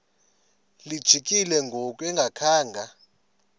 lijikile ngoku engakhanga